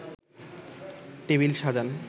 table সাজান